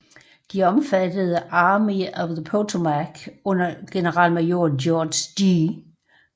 De omfattede Army of the Potomac under generalmajor George G